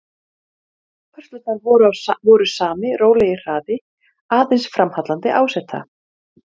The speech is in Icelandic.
Þá stuttu stund sem þau standa þarna ræða þau um myndina.